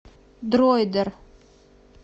дроидер